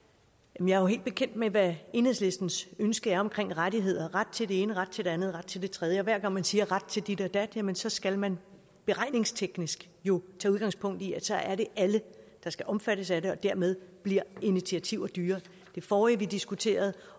er jo helt bekendt med hvad enhedslistens ønske er omkring rettigheder ret til det ene ret til det andet ret til det tredje og hver gang man siger at ret til dit og dat jamen så skal man beregningsteknisk jo tage udgangspunkt i at så er det alle der skal omfattes af det og dermed bliver initiativer dyrere i det forrige vi diskuterede